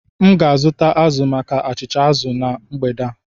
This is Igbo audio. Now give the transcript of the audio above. M ga-azụta azụ maka achịcha azụ na mgbede a